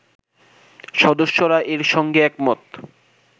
সদস্যরা এরসঙ্গে একমত